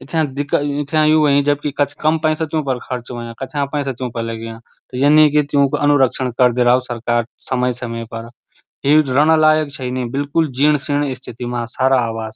इथ्याँ दिक्कत इथ्याँ यूं हुईं जबकि कच कम पैसा च यूँ फर खर्च हुयां कथ्याँ पैसा च यूँ फर लग्याँ ये नी की त्युक अनुरक्षण करदी रओ सरकार समय-समय पर ये रैना लायक छई नि बिलकुल जीण-सीण स्थिति मा सारा आवास।